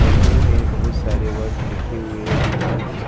हिंदी में बहुत सारे वर्ड लिखे हुए दीवार में।